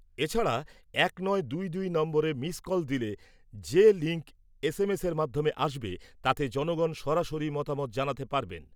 এছাড়া এক নয় দুই দুই নম্বরে মিস কল দিলে যে লিঙ্ক এস এম এসের মাধ্যমে আসবে তাতে জনগণ সরাসরি মতামত জানাতে পারবেন।